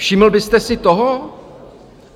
Všiml byste si toho?